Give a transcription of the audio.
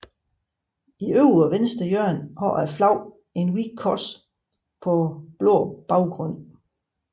I øvre venstre hjørne har flaget et hvidt kors på blå baggrund